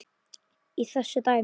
í þessu dæmi.